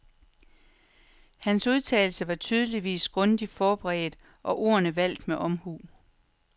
Hans udtalelse var tydeligvis grundigt forberedt og ordene valgt med omhu.